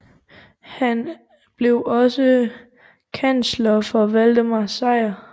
Han blev også kansler for Valdemar Sejr